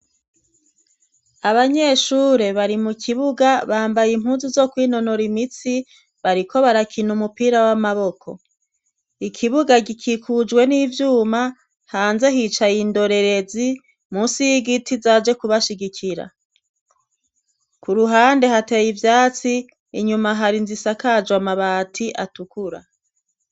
Abanyeshure bari mu kibuga, bambaye impunzu zo kwinonora imitsi, bariko barakina umupira w'amaboko, ikibuga gikikujwe n'ivyuma, hanze hicaye indorerezi munsi y'igiti, zaje kubashigikira, k'uruhande hateye ivyatsi, inyuma hari inzu isakajwe amabati atukura.